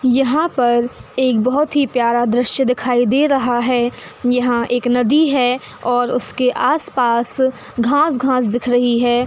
यहां पर एक बहुत ही प्यारा दृश्य दिखाई दे रहा है। यहां एक नदी है और उसके आसपास घास-घास दिख रही है।